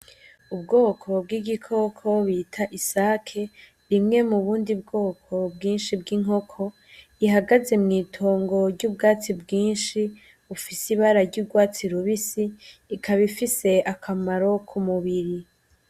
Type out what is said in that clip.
Ubwoko bw’ Igikoko bita isake ,imwe mu bundi bwoko bwinshi bw’inkoko ihagaze mw’itongo ry’ubwatsi bwinshi bufise ibara ry’urwatsi rubisi ikaba ifise akamaro ku mubiri.